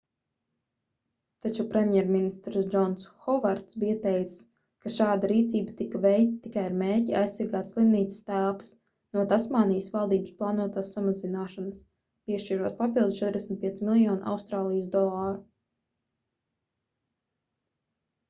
taču premjerministrs džons hovards bija teicis ka šāda rīcība tika veikta tikai ar mērķi aizsargāt slimnīcas telpas no tasmānijas valdības plānotās samazināšanas piešķirot papildu 45 miljonus austrālijas dolāru